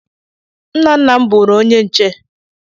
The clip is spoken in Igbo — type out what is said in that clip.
Nna nna m bụụrụ onye nche.